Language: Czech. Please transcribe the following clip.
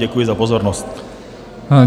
Děkuji za pozornost.